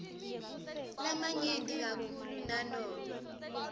lamanyenti kakhulu nanobe